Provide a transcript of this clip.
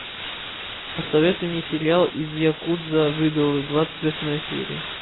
посоветуй мне сериал из якудза в идолы двадцать восьмая серия